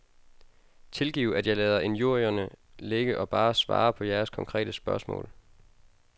Tilgiv at jeg lader injurierne ligge og bare svarer på jeres konkrete spørgsmål.